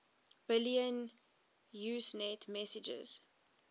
billion usenet messages